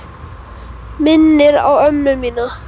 Minnir á ömmu mína.